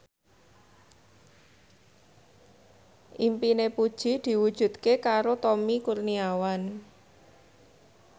impine Puji diwujudke karo Tommy Kurniawan